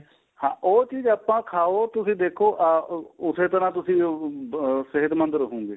ਹਾਂ ਉਹ ਚੀਜ ਆਪਾਂ ਖਾਓ ਤੁਸੀਂ ਦੇਖੋ ਆਹ ਉਸੇ ਤਰ੍ਹਾਂ ਤੁਸੀਂ ਅਹ ਸਿਹਤਮੰਦ ਰਹੋਗੇ